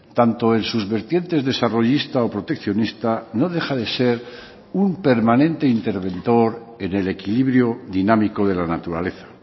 tanto en sus vertientes desarrollista o proteccionista no deja de ser un permanente interventor en el equilibrio dinámico de la naturaleza